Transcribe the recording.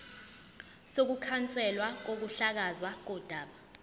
sokukhanselwa kokuhlakazwa kodaba